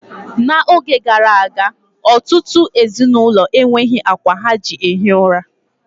N'oge gara aga, ọtụtụ ezinụlọ enweghi akwa ha ji ehi ųra.